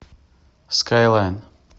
скайлайн